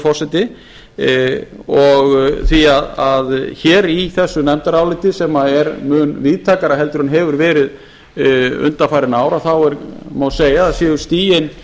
forseti því hér í þessu nefndaráliti sem er mun víðtækara heldur en hefur verið undanfarin ár þá má segja að séu stigin